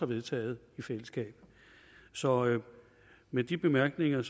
vedtaget i fællesskab så med de bemærkninger